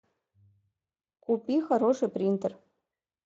купи хороший принтер